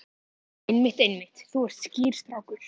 Einmitt, einmitt, þú ert skýr strákur.